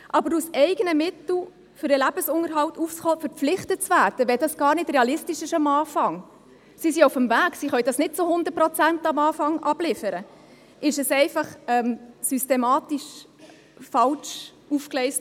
Aber aus eigenen Mitteln für den Lebensunterhalt aufzukommen, dazu verpflichtet zu werden, wenn dies am Anfang gar nicht realistisch ist – sie sind auf dem Weg, sie können dies nicht zu hundert Prozent am Anfang liefern –, wurde systematisch einfach falsch aufgegleist.